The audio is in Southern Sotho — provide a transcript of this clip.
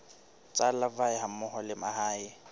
tsa larvae hammoho le mahe